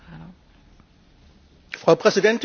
Frau Präsidentin, Frau Kommissarin!